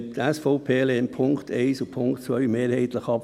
Die SVP lehnt die Punkte 1 und 2 mehrheitlich ab.